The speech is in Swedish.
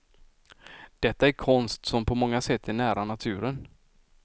Detta är konst som på många sätt är nära naturen.